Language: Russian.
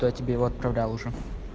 кто тебе его отправлял уже